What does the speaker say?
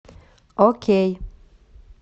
окей